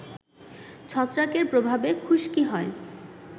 ছত্রাকের প্রভাবে খুশকি হয়